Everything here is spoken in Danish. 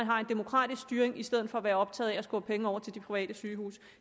har en demokratisk styring i stedet for at være optaget af at skubbe penge over til de private sygehuse